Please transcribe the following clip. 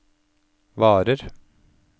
varer